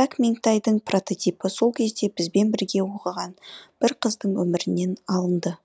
пәк меңтайдың прототипі сол кезде бізбен бірге оқыған бір қыздың өмірінен алынды